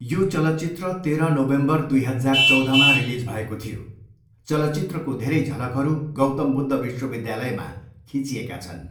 यो चलचित्र तेह्र नोभेम्बर, दुई हजार चौधमा रिलिज भएको थियो। चलचित्रको धेरै झलकहरू गौतम बुद्ध विश्वविद्यालयमा खिँचिएका छन्।